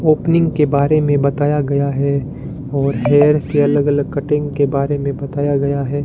Opening के बारे में बताया गया है और हेयर के अलग अलग कटिंग के बारे में बताया गया है।